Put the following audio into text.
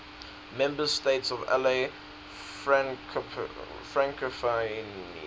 member states of la francophonie